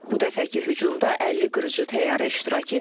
Bu dəfəki hücumda 50 qırıcı təyyarə iştirak edib.